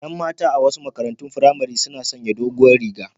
Yan mata a wasu makarantun firamare suna sanya doguwar riga